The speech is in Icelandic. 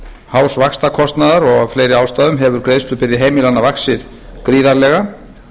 hás vaxtakostnaðar og af fleiri ástæðum hefur vaxtabyrði heimilanna vaxið gríðarlega